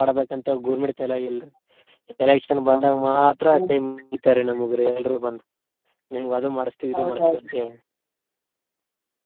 ಮಾಡ್ಬೇಕಂತ ಹೇಳಿ government ತಲ್ಯಾಗಿಲ್ರಿ. ತನಗ್ ಇಷ್ಟಾಗ್ ಬಂದಂಗ್ ಮಾತ್ರ ಕೈ ಮುಗಿತ್ತಾರ್ರಿ ನಮ್ಗ್ ರೀ ಎಲ್ರು ಬಂದ್ ನಿಮ್ಗ್ ಅದು ಮಾಡ್ಸ್ತೇವಿ, ಇದ್ ಮಾಡ್ಸ್ತೇವಿ ಅಂತೇಳಿ.